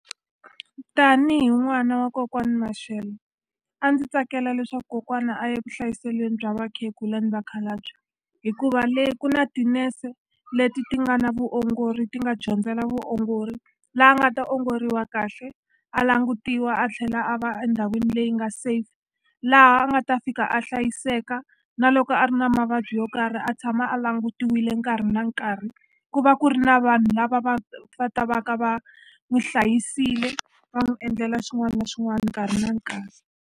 Tanihi n'wana wa kokwani Mashele a ndzi tsakela leswaku kokwana a ye vuhlayiselweni bya vakhegula ni vakhalabye hikuva le ku na tinese leti ti nga na vuongori ti nga dyondzela vuongori la a nga ta ongoriwa kahle a langutiwa a tlhela a va endhawini leyi nga safe laha a nga ta fika a hlayiseka na loko a ri na mavabyi yo karhi a tshama a langutiwile nkarhi na nkarhi ku va ku ri na vanhu lava va va ta va ka va n'wi hlayisile va n'wi endlela xin'wana na xin'wana nkarhi na nkarhi.